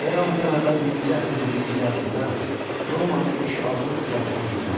Eramızdan əvvəl birinci əsrin birinci yarısında Romanın işğalçılıq siyasəti gücləndi.